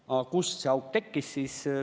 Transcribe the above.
Aga kust see auk tekkis?